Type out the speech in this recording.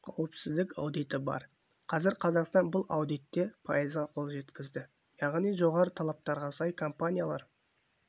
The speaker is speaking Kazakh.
қауіпсіздік аудиті бар қазір қазақстан бұл аудитте пайызға қол жеткізді яғни жоғары талаптарға сай компаниялар